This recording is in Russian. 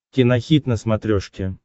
кинохит на смотрешке